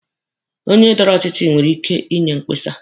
Onye dọrọ ọchịchị nwere ike inye mkpesa.